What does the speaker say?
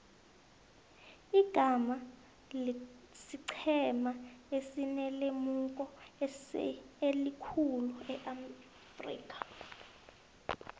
ighana siqhema esinelemuko elikhulu eafrika